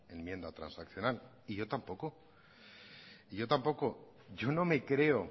enmienda transaccional y yo tampoco y yo tampoco yo no me creo